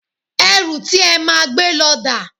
Ẹrù ti e máa gbé lọ dà?